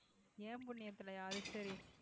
என் புண்ணியத்துல அது சரி